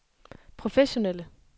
professionelle